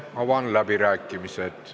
Avan läbirääkimised.